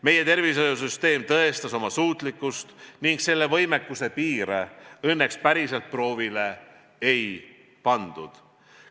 Meie tervishoiusüsteem tõestas oma suutlikkust ning selle võimekuse piire õnneks päriselt proovile ei pandud.